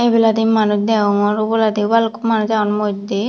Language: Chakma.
ebaladi manus deongor oboladi balukko manus agon moddey.